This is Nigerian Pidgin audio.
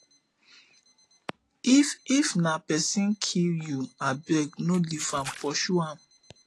if if na pesin kill you abeg no leave am pursue am